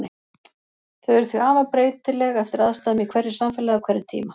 Þau eru því afar breytileg eftir aðstæðum í hverju samfélagi á hverjum tíma.